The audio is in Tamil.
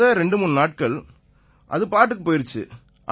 முத 23 நாட்கள் அது பாட்டுக்குப் போயிருச்சு